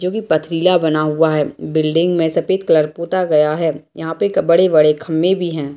जो की पथरीला बना हुआ है बिल्डिंग में सफ़ेद कलर पोता गया है यहाँ पे क बड़े-बड़े खंभे भी हैं।